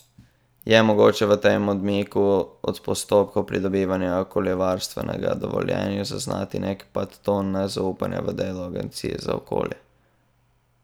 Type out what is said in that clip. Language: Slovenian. Je mogoče v tem odmiku od postopkov pridobivanja okoljevarstvenega dovoljenja zaznati nek podton nezaupanja v delo agencije za okolje?